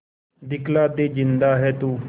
दिखला दे जिंदा है तू